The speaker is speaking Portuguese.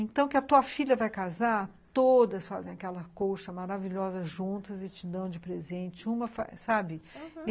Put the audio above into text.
Então, que a tua filha vai casar, todas fazem aquela colcha maravilhosa juntas e te dão de presente, uma, sabe? aham.